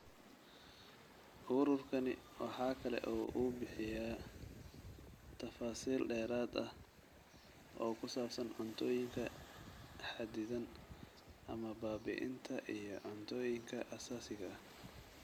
Ururkani waxa kale oo uu bixiyaa tafaasiil dheeraad ah oo ku saabsan cuntooyinka xaddidan ama baabi'inta iyo cuntooyinka aasaasiga ah.